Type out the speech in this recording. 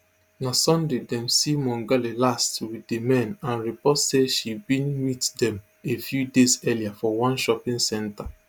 na sunday dem see mongale last wit di men and report say she bin meet dem a few days earlier for one shopping centre